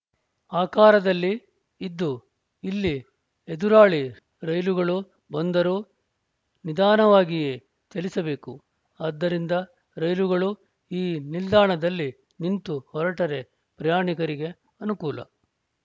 ಆಕಾರದಲ್ಲಿ ಇದ್ದು ಇಲ್ಲಿ ಎದುರಾಳಿ ರೈಲುಗಳು ಬಂದರೂ ನಿಧಾನವಾಗಿಯೇ ಚಲಿಸಬೇಕು ಆದ್ದರಿಂದ ರೈಲುಗಳು ಈ ನಿಲ್ದಾಣದಲ್ಲಿ ನಿಂತು ಹೊರಟರೆ ಪ್ರಯಾಣಿಕರಿಗೆ ಅನುಕೂಲ